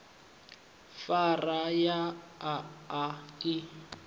phara ya a a i